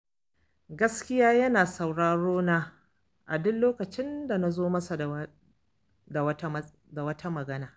Gaskiya yana sauraro na a duk lokacin da na zo masa da wata magana.